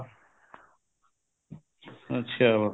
ਅੱਛਾ